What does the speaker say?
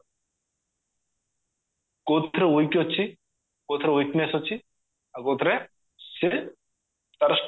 କଉଥିରେ weak ଅଛି କଉଥିରେ weakness ଅଛି ଆଉ କଉଥିରେ ସିଏ ତାର